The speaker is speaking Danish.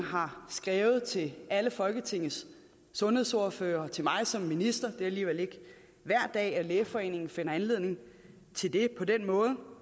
har skrevet til alle folketingets sundhedsordførere og til mig som minister er alligevel ikke hver dag at lægeforeningen finder anledning til det på den måde